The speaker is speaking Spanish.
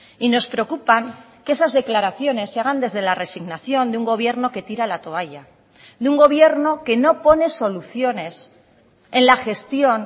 y nos preocupan que esas declaraciones se hagan desde la resignación de un gobierno que tira la toalla de un gobierno que no pone soluciones en la gestión